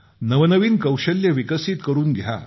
नवनवीन कौशल्ये विकसित करून घ्या